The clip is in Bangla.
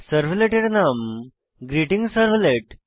সার্ভলেটের নাম হল গ্রীটিংসার্ভলেট